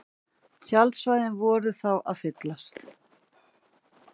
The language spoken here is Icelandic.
Tjaldsvæðin voru þá að fyllast